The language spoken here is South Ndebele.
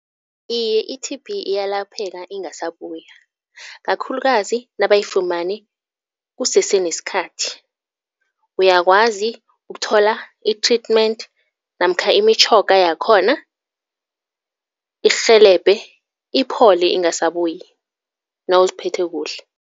Iye i-T_B iyalapheka ingasabuya, kakhulukazi nabayifumane kusese nesikhathi. Uyakwazi ukuthola i-treatment namkha imitjhoga yakhona, ikurhelebhe, iphole ingasabuyi nawuziphethe kuhle.